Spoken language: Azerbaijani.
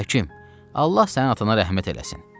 Həkim, Allah sənin atana rəhmət eləsin.